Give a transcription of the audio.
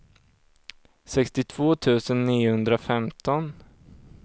sextiotvå tusen niohundrafemton